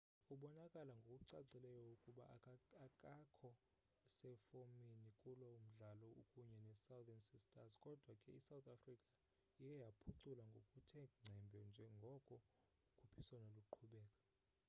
ubonakala ngokucacileyo ukuba akakho sefomini kulo mdlalo ukunye nesouthern sisters kodwa ke isouth africa iye yaphucula ngokuthe ngcembe njengoko ukhuphiswano luqhubeka